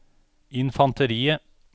infanteriet